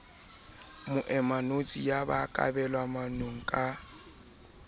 moemanotshi ya ba kabelwamanong ka